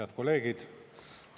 Head kolleegid!